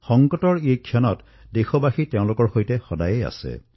সংকটৰ এই সময়ছোৱাত সমগ্ৰ দেশবাসী তাৰে জনতাৰ সৈতে থিয় দিছে